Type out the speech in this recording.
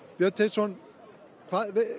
Björn Teitsson